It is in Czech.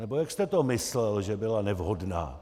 Nebo jak jste to myslel, že byla nevhodná?